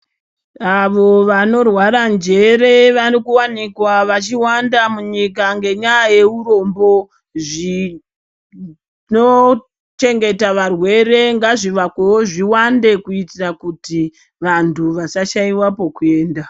Avo vanorwara njere varikuvanikwa vachiwanda munyika ngenyaya yeurombo. Zvinochengeta varwere ngazvivakwevo zviwande, kuitira kuti vantu vasashaiva pokuenda.